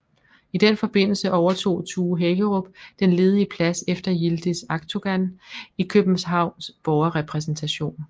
I den forbindelse overtog Tue Hækkerup den ledige plads efter Yildiz Akdogan i Københavns Borgerrepræsentation